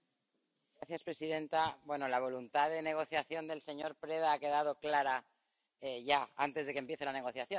Señora presidenta, la voluntad de negociación del señor Preda ha quedado clara ya antes de que empiece la negociación.